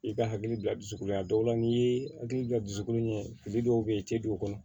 I ka hakili bila dusukolo la a dɔw la n'i ye hakili bila dusukolo ɲɛ fili dɔw be ye i te don o kɔnɔ